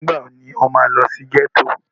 Nígbà wo ni o máa lọ sí ghetto?